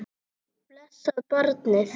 Blessað barnið.